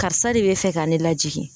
Karisa de bɛ fɛ ka ne lajigin